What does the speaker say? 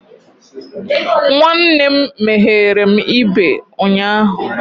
Nwanne m meghere m ibe ụnyahụ.